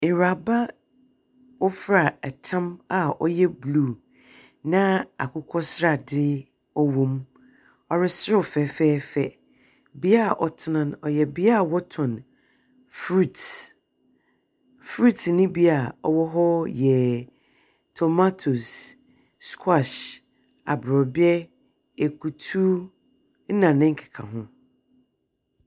Ewuraba a ɔfura tam a ɔyɛ blue na akokɔsradze wɔ mu. Ɔreserew fɛfɛɛfɛ. Bea a ɔtsena no, ɔyɛ bea a wɔtɔn fruits. Fruits no bi a ɔwɔ hɔ yɛ tomatoes, squash, aborɔbɛ, ekutu na ne nkekaho.